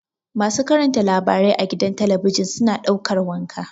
Masu karanta labarai a gida talabijin suna ɗaukar wanka.